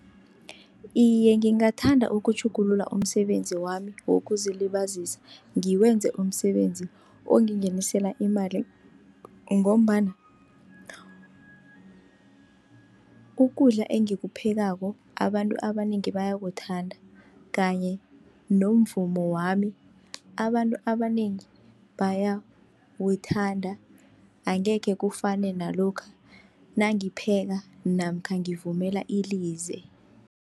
Iye, ngingathanda ukutjhugulula umsebenzi wami wokuzilibazisa, ngiwenze umsebenzi ongingenisela imali, ngombana ukudla engikuphekako abantu abanengi bayakuthanda. Kanye nomvumo wami abantu abanengi bayawuthanda, angekhe kufane nalokha nangipheka namkha ngivumela ilize.